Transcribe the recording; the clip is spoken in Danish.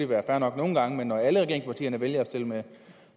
være fair nok nogle gange men når alle regeringspartierne vælger at stille med